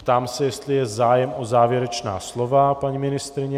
Ptám se, jestli je zájem o závěrečná slova, paní ministryně...